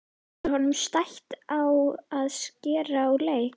Er honum stætt á að skerast úr leik?